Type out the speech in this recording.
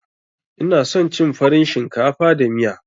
Ina son cin farin shinkafa da miya.